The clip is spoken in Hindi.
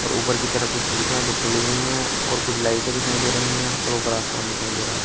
और ऊपर की तरफ कुछ खिड़कियां जो खुली हुई है और कुछ लाइटे दिखाई दे रही है और ऊपर आसमान दिखाई दे रहा--